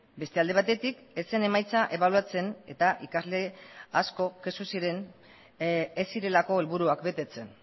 beste alde batetik ez zen emaitza ebaluatzen eta ikasle asko kexu ziren ez zirelako helburuak betetzen